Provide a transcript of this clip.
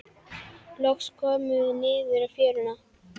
Loks komum við niður í fjöruna.